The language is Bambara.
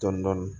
Dɔndɔni